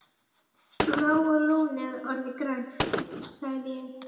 Bláa lónið orðið grænt? sagði ég.